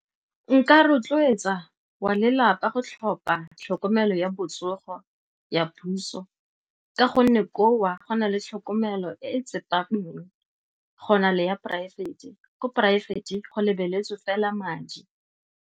Nka rotloetsa wa lelapa go tlhopha tlhokomelo ya botsogo ya puso ka gonne koo go na le tlhokomelo e e tsepameng go na le ya poraefete, ko poraefete go lebeletswe fela madi.